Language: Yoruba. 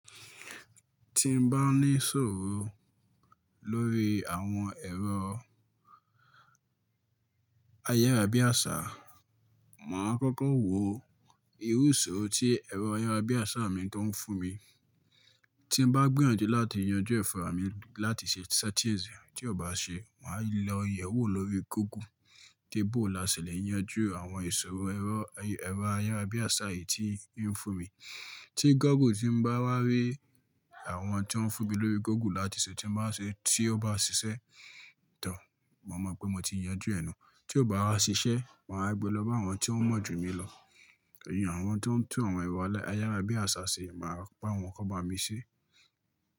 Ti n bá ní ìṣòro lórí àwọn ẹrọ ayárabíàṣá, màá kọ́kọ́ wo irú ìṣòro tí ẹrọ ayárabíàṣá mi tó ń fún mi. Tí n bá gbìyànjú láti yanjú ẹ̀ fúnra mi láti ṣe settings e, tí ò bá ṣe, màá lọ yẹ̀wò lórí Google pé boo là ṣẹlẹ̀ yanjú àwọn ìṣòro ẹrọ ayárabíàṣá yìí tí ń fún mi. Tí Google tí n bá wá rí àwọn tí o n fún mi lórí Google láti ṣe tí n bá ṣe, tí ó bá ṣiṣẹ́, màá mọ̀ pé mo ti yanjú ẹ̀ nù. Ti o bá wá ṣiṣe máa wa gbé lóba awọn ti o mọ jù mi lò. Ìyẹn àwọn tó ń tún àwọn ẹ̀rọ ayárabíàṣá ṣe, màá bá wọn kó bá mi ṣé.